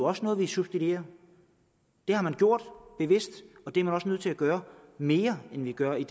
også noget vi substituerer det har man gjort bevidst og det er man også nødt til at gøre mere end vi gør i